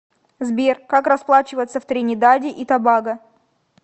сбер как расплачиваться в тринидаде и тобаго